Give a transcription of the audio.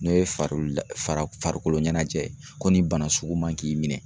N'o ye farula fara farikolo ɲɛnajɛ ye ko nin bana sugu man k'i minɛ.